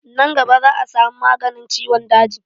Nan gaba za a samu maganin ciwon daji